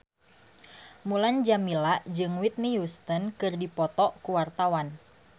Mulan Jameela jeung Whitney Houston keur dipoto ku wartawan